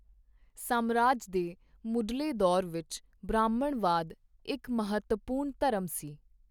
ਸਾਮਰਾਜ ਦੇ ਮੁਢਲੇ ਦੌਰ ਵਿੱਚ ਬ੍ਰਾਹਮਣਵਾਦ ਇੱਕ ਮਹੱਤਵਪੂਰਨ ਧਰਮ ਸੀ।